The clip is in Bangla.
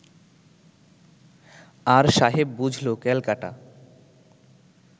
আর সাহেব বুঝল ক্যালকাটা